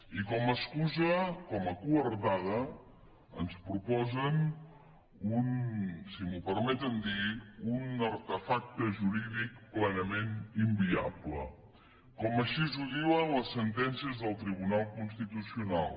i com a excusa com a coartada ens proposen un si m’ho permeten dir artefacte jurídic plenament inviable com així ho diuen les sentències del tribunal constitucional